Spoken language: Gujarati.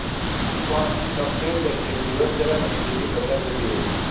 પણ શક્ય છે કે દિવસ દરમ્યાન તિથી બદલાઇ જતી હોય